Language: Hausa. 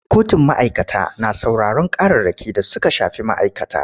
Kotun ma'aikata na sauraron ƙararraki da suka shafi ma'aikata.